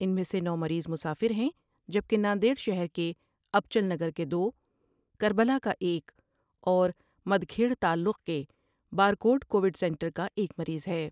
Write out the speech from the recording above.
ان میں سے نو مریض مسافر ہیں جبکہ ناندیڑ شہر کے انچل نگر کے دو ، کر بلا کا ایک اور مکھیٹر تعلقے کے بارڈ کوڈ سینٹر کا ایک مریض ہے ۔